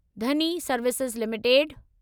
Dhani Services limited